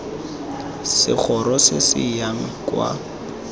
segoro se se yang kwa